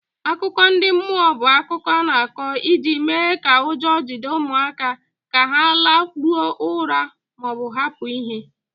Akụkọ ndị mmụọ bụ akụkọ a na-akọ iji mee ka ụjọ jide ụmụaka ka ha lakpuo ụra ma ọ bụ hapụ ihe.